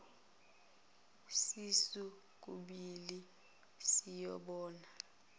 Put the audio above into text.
sisu kubhili siyobona